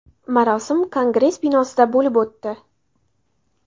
Marosim Kongress binosida bo‘lib o‘tdi.